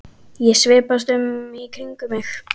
Ég svipast um í kringum mig.